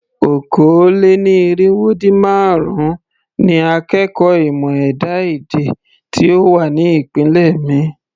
Okòó-lé-ní-irínwó-dín-márùn-ún ni akẹ́kọ̀ọ́ ìmọ̀ ẹ̀dá-èdè tí ó wà ní ìpele mi.